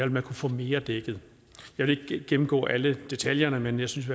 man kunne få mere dækket jeg vil ikke gennemgå alle detaljerne men jeg synes